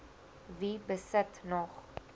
wie besit nog